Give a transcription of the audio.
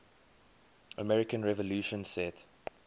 american revolution set